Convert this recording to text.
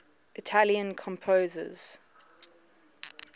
italian composers